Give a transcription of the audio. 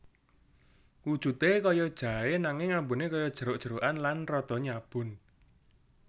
Wujudé kaya jaé nanging ambuné kaya jeruk jerukan lan rada nyabun